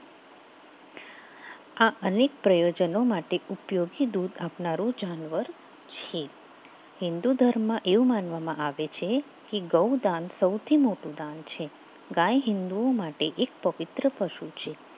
આ અનેક પ્રયોજનો માટે ઉપયોગી દૂધ આપનાર જાનવર છે હિંદુ ધર્મ એવું માનવામાં આવે છે કે ગોદાન સૌથી મોટું દાન છે ગાય હિંદુઓ માટે એક પવિત્ર પશુ છે.